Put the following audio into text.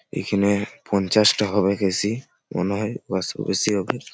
এইখানে-এ পঞ্চাশ টা হবেক এ. সি. মনে হয় ওয়াশ -ও বেশি হবে।